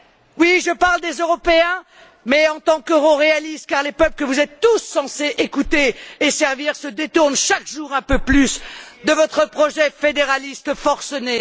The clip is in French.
Oui, je parle des Européens, mais en tant qu'euroréaliste, car les peuples que vous êtes tous censés écouter et servir se détournent, chaque jour un peu plus, de votre projet fédéraliste forcené.